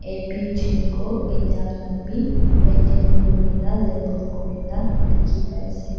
AP gengo enia khan bi maintain kori kena label kori na dekhi pai ase.